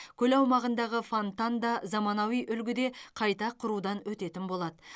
көл аумағындағы фонтан да заманауи үлгіде қайта құрудан өтетін болады